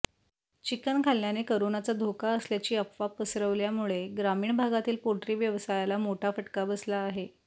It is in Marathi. चिकन खाल्ल्याने करोनाचा धोका असल्याची अफवा पसरवल्यामुळे ग्रामीण भागातील पोल्ट्री व्यवसायाला मोठा फटका बसला आहे